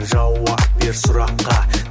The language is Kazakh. жауап бер сұраққа